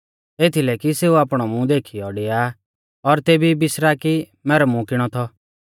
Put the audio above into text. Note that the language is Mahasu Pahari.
एथीलै कि सेऊ आपणौ मूंह देखीयौ डिया और तेबी बिसरा कि मैरौ मूंह किणौ थौ